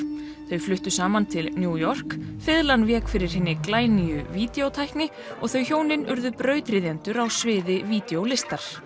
þau fluttu saman til New York fiðlan vék fyrir hinni glænýju og þau hjónin urðu brautryðjendur á sviði